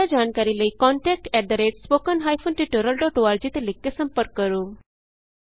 ਜਿਆਦਾ ਜਾਣਕਾਰੀ ਲਈ contact at spoken hyphen tutorial dot org ਤੇ ਲਿਖ ਕੇ ਸੰਪਰਕ ਕਰੋ